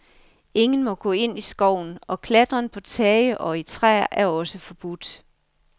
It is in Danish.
Ingen må gå ind i skoven, og klatren på tage og i træer er også forbudt.